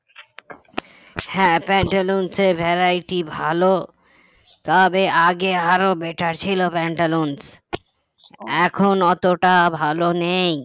হ্যাঁ প্যান্টালুনসে variety ভালো তবে আগে আরো better ছিল প্যান্টালুনস এখন অতটা ভালো নেই